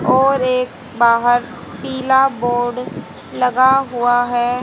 और एक बाहर पीला बोर्ड लगा हुआ है।